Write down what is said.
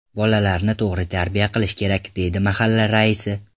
Bolalarni to‘g‘ri tarbiya qilish kerak”, deydi mahalla raisi.